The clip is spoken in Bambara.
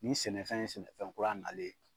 Nin sɛnɛfɛn ye sɛnɛfɛn kura nalen.